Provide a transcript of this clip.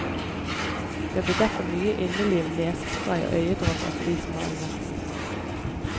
Det blir derfor mye inneliv, nesespray og øyedråper for de som har det verst.